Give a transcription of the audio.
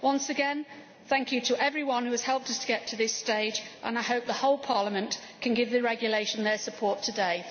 Once again, thank you to everyone who has helped us get to this stage and I hope the whole Parliament can give the regulation their support today.